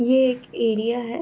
ये एक एरिया है।